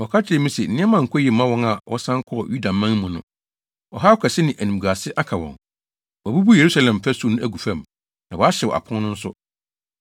Wɔka kyerɛɛ me se, “Nneɛma nkɔ yiye mma wɔn a wɔsan kɔɔ Yudaman mu no. Ɔhaw kɛse ne animguase aka wɔn. Wɔabubu Yerusalem fasu no agu fam, na wɔahyew apon no nso.”